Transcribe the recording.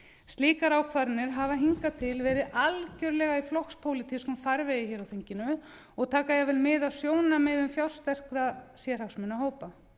slíkar ákvarðanir hafa hingað til verið algjörlega í flokkspólitískum farvegi hér á þinginu og taka jafnvel mið af sjónarmiðum fjársterkra sérhagsmunahópa